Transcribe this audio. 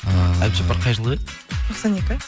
ыыы әбдіжаппар қай жылғы еді тоқсан екі